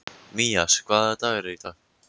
Mías, hvaða dagur er í dag?